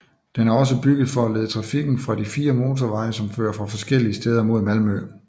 Den er også bygget for at lede trafikken fra de fire motorveje som fører fra forskellige steder mod Malmø